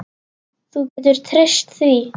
Þú getur treyst því.